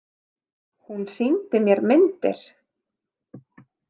Hún sýndi mér myndir.